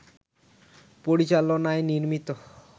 পরিচালনায় নির্মিত